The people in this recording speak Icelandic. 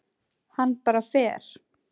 Hann bara fer.